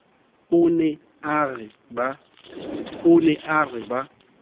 o ne a re ba